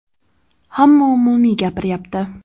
Hamma umumiy gapiryapti.